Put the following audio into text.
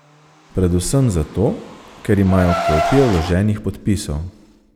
Predvsem zato, ker imajo kopije vloženih podpisov.